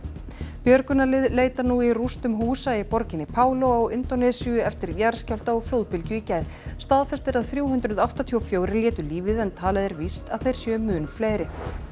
björgunarlið leita nú í rústum húsa í borginni á Indónesíu eftir jarðskjálfta og flóðbylgju í gær staðfest er að þrjú hundruð áttatíu og fjögur létu lífið en talið er víst að þeir séu mun fleiri